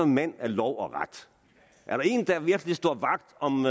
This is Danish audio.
mand af lov og ret og er der en der virkelig står vagt om